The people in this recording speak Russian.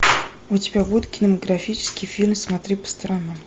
у тебя будет кинематографический фильм смотри по сторонам